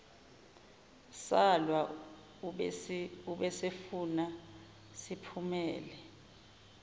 salwa ubesefuna siphumele